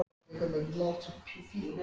Bara að heimsækja Lása, sagði Abba hin.